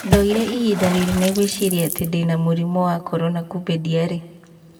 "Ndoire ihinda rĩnene gũĩciria atĩ ndĩna mũrimũ ya Korona kũmbe ndĩari.